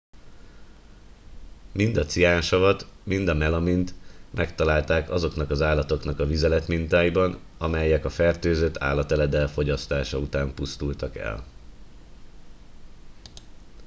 mind a ciánsavat mind a melamint megtalálták azoknak az állatoknak a vizeletmintáiban amelyek a fertőzött állateledel fogyasztása után pusztultak el